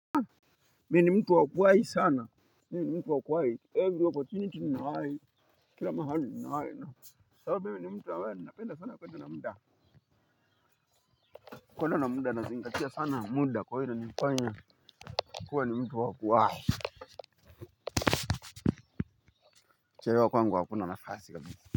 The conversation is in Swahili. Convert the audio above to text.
Mie ni mtu wakuwai sana. Mie ni mtu wakuwai Every oppotunity ninawai. Kila mahali ninawai na sababu mimi ni mtu ambae ni napenda sana kuenda na muda. Kuenda na muda nazingatia sana muda kwa hilo inanifanya kuwa ni mtu wakuwai. Chelewa kwangu hakuna nafasi kabisa.